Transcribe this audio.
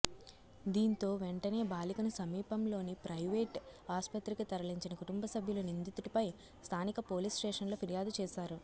దీంతో వెంటనే బాలికను సమీపంలోని ప్రైవేట్ ఆస్పత్రికి తరలించిన కుటుంబ సభ్యులు నిందితుడిపై స్థానిక పోలీస్ స్టేషన్లో ఫిర్యాదు చేశారు